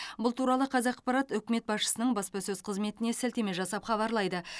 бұл туралы қазақпарат үкімет басшысының баспасөз қызметіне сілтеме жасап хабарлайды